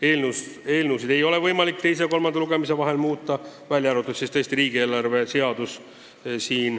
Eelnõusid ei ole võimalik teise ja kolmanda lugemise vahel muuta, välja arvatud riigieelarve seadus.